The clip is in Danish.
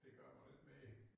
Det gør man ikke mere